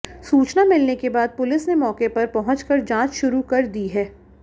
सूचना मिलने के बाद पुलिस ने मौके पर पहुंच कर जांच शुरू कर दी है